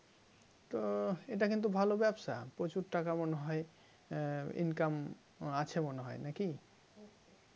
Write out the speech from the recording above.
তো এটা কিন্তু ভাল ব্যবসা প্রচুর টাকা মনে হয় income আছে মনে হয় নাকি